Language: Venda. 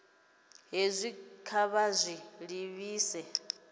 hezwi kha vha zwi livhise